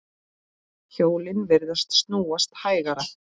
Hjólin virðast snúast hægar.